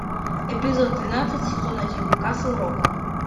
эпизод двенадцать сезон один касл рок